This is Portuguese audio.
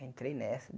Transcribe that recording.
Entrei nessa.